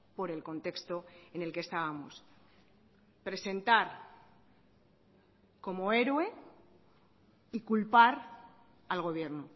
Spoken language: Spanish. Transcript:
por el contexto en el que estábamos presentar como héroe y culpar al gobierno